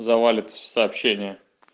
завалят в сообщение